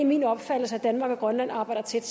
min opfattelse at danmark og grønland arbejder tæt